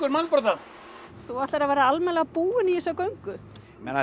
mannbrodda þú ætlar að vera almennilega búinn í þessa göngu